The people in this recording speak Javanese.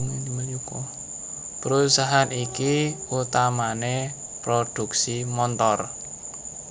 Perusahaan iki utamané prodhuksi montor